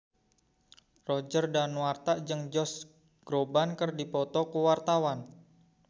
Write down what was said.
Roger Danuarta jeung Josh Groban keur dipoto ku wartawan